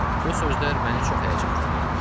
Bu sözlər məni çox həyəcanlandırdı.